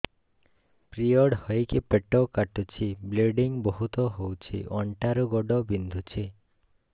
period ହୋଇକି ପେଟ କାଟୁଛି ବ୍ଲିଡ଼ିଙ୍ଗ ବହୁତ ହଉଚି ଅଣ୍ଟା ରୁ ଗୋଡ ବିନ୍ଧୁଛି